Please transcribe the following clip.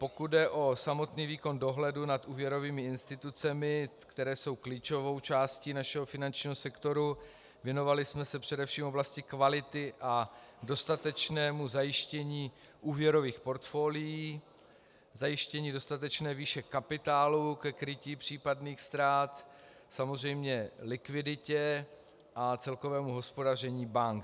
Pokud jde o samotný výkon dohledu nad úvěrovými institucemi, které jsou klíčovou částí našeho finančního sektoru, věnovali jsme se především oblasti kvality a dostatečnému zajištění úvěrových portfolií, zajištění dostatečné výše kapitálu ke krytí případných ztrát, samozřejmě likviditě a celkovému hospodaření bank.